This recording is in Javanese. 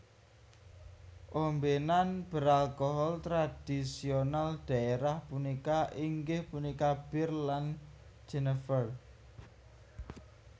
Ombenan beralkohol tradisional daerah punika inggih punika bir lan Jenever